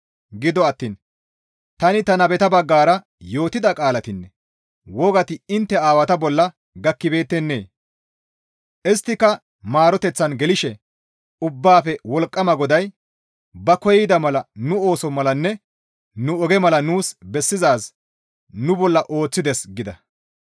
Gido attiin tani ta nabeta baggara yootida qaalatinne wogati intte aawata bolla gakkibeettennee? ‹Isttika maaroteththan gelththishe Ubbaafe Wolqqama GODAY ba koyida mala nu ooso malanne nu oge mala nuus bessizaaz nu bolla ooththides› » gida.